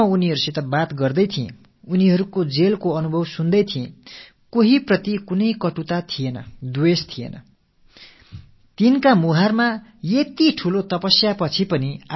நான் அவர்களோடு உரையாடிக் கொண்டிருந்த வேளையில் அவர்களின் சிறை அனுபவங்களைக் கேட்டுக் கொண்டிருந்த போது அவர்கள் மனங்களில் யாருக்கெதிராகவும் எந்த ஒரு கசப்புணர்வும் காணப்படவில்லை துவேஷம் தென்படவில்லை